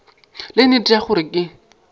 le nnete ya gore ke